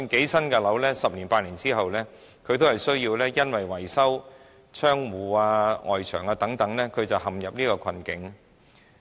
即使是新的樓宇，十年八載後還是會因維修窗戶、外牆等問題陷入困境。